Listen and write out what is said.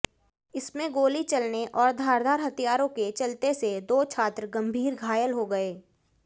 इसमें गोली चलने और धारदार हथियारों के चलते से दो छात्र गंभीर घायल हो गए